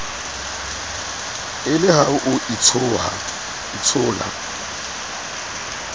e le ha o itshola